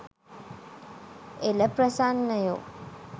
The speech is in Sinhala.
එල ප්‍රසන්නයෝ.